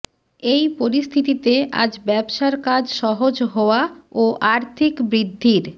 এই পরিস্থিতিতে আজ ব্যবসার কাজ সহজ হওয়া ও আর্থিক বৃদ্ধির